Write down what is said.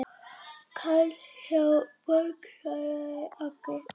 Karl hjá Borg svaraði Agli.